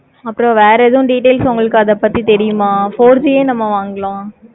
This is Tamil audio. அப்பறம் வேற எதுவோ details எது அத பத்தி உங்களுக்கு தெரியனுமா? four G ஏ வாங்கலாம்.